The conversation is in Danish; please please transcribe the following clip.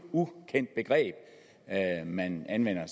ukendt begreb man anvender